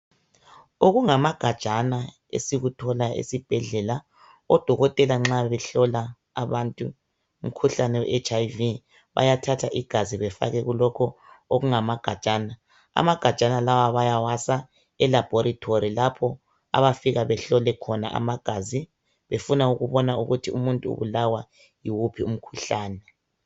Okungamagajana esikuthola esibhedlela, odokotela nxa behlola abantu umkhuhlane we HIV, bayathatha igazi befake kulokho okungamagajana. Amagajana lawa baya wasa e-laboratory lapho abafike behlole khona amagazi befuna ukubona ukuthi umuntu ubulawa yiwuphi umkhuhlane.